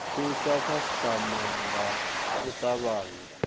thusa khasitama nga u tavhanya